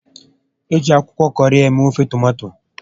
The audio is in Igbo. Eji akwụkwọ kọrị eme ofe tomato